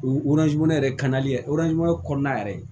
O yɛrɛ kɔnɔna yɛrɛ